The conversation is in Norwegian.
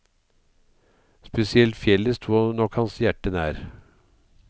Spesielt fjellet sto nok hans hjerte nær.